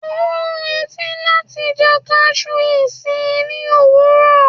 o n reti láti jẹ cashew sí ni owurọ